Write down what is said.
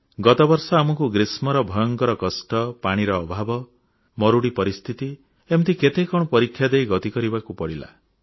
ଗତବର୍ଷ ଆମକୁ ଗ୍ରୀଷ୍ମର ଭୟଙ୍କର କଷ୍ଟ ପାଣିର ଅଭାବ ମରୁଡ଼ି ପରିସ୍ଥିତି ଏମିତି କେତେ କଣ ପରୀକ୍ଷା ଦେଇ ଗତି କରିବାକୁ ପଡ଼ିଲା